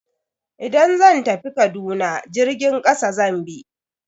Idan zan tafi Kaduna jirgin kasa zan bi.